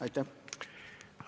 Aitäh!